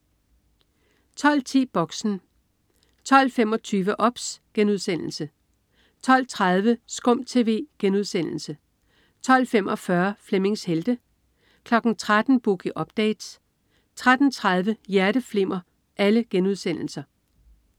12.10 Boxen 12.25 OBS* 12.30 SKUM TV* 12.45 Flemmings Helte* 13.00 Boogie Update* 13.30 Hjerteflimmer*